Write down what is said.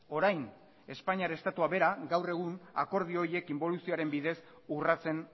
orain espainiar estatuak berak gaur egun akordio horiek inboluzioaren bidez urratzen